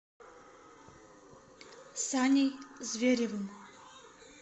саней зверевым